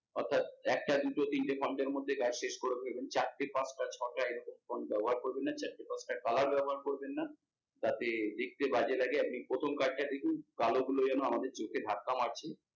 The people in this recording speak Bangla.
অর্থাৎ একটা দুটো তিনটে এর মধ্যে কাজ শেষ করে ফেলবেন চারটে পাঁচটা ছটা এরকম ব্যবহার করেবন না চারটে পাঁচটা colour ব্যবহার করবেন না তাতে দেখতে বাজে লাগে আর আপনি প্রথম card টা দেখুন কালো গুলো যেন আমাদের চোখে ধাক্কা মারছে।